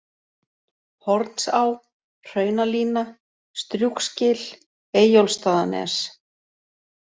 Hornsá, Hraunalína, Strjúgsgil, Eyjólfsstaðanes